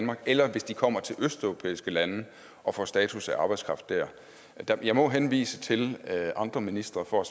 her eller hvis de kommer til østeuropæiske lande og får status af arbejdskraft dér jeg må henvise til andre ministre for